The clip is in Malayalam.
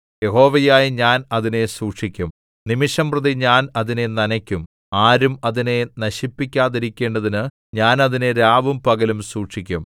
യഹോവയായ ഞാൻ അതിനെ സൂക്ഷിക്കും നിമിഷംപ്രതി ഞാൻ അതിനെ നനയ്ക്കും ആരും അതിനെ നശിപ്പിക്കാതിരിക്കേണ്ടതിനു ഞാൻ അതിനെ രാവും പകലും സൂക്ഷിക്കും